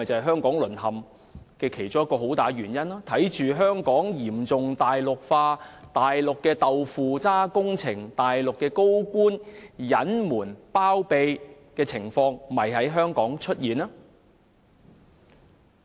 "香港淪陷"其中一個很大的原因，就是香港嚴重"大陸化"，以往只會在大陸看到的"豆腐渣"工程和高官隱瞞包庇的情況，現已在香港出現。